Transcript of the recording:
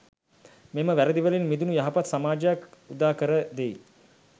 මෙම වැරැදිවලින් මිදුණු යහපත් සමාජයක් උදා කර දෙයි.